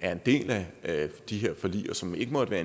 er en del af de her forlig og som ikke måtte være